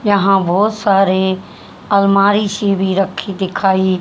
यहां बहोत सारे अलमारी से भी रखी दिखाइए--